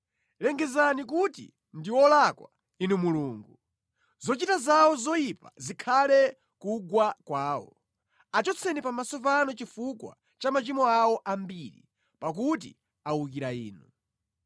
Lengezani kuti ndi olakwa, Inu Mulungu! Zochita zawo zoyipa zikhale kugwa kwawo. Achotseni pamaso panu chifukwa cha machimo awo ambiri, pakuti awukira Inu.